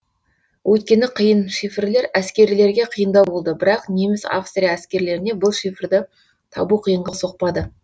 өйткені қиын шифрлер әскерлерге қиындау болды бірақ неміс австрия әскерлеріне бұл шифрды табу қиынға соқпады